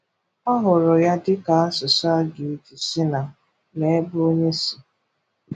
Ọ hụrụ ya dị ka asụsụ a ga-eji si na lee ebe onye si.